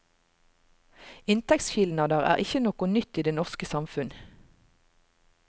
Inntektsskilnader er ikkje noko nytt i det norske samfunn.